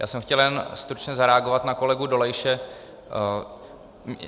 Já jsem chtěl jen stručně zareagovat na kolegu Dolejše.